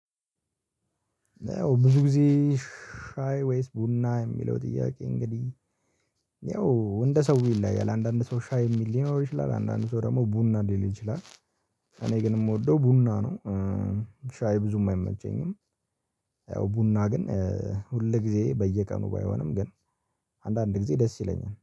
ያው ብዙ ጊዜ ወይስ ቡና የሚለው ጥያቄ? እንግዲህ ያው እንደ ሰው ይለያያል አንዳንድ ሰው ሻይ የሚል ሊኖር ይችላል አንዳንድ ሰው ደግሞ ቡና ሊል ይችላል። እኔ ግን የምወደው ቡና ነው። ሻይ ብዙም አይመቸኝም። ያው ቡና ግን ሁል ጊዜ በየቀኑ ባይሆንም ግን አንዳንድ ጊዜ ደስ ይለኛል